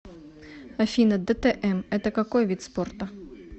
афина дтм это какой вид спорта